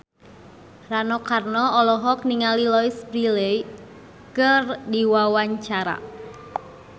Rano Karno olohok ningali Louise Brealey keur diwawancara